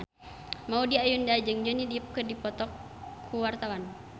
Maudy Ayunda jeung Johnny Depp keur dipoto ku wartawan